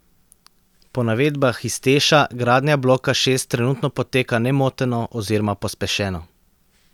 Po navedbah iz Teša gradnja bloka šest trenutno poteka nemoteno oziroma pospešeno.